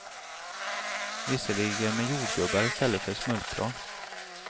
Visserligen med jordgubbar i stället för smultron.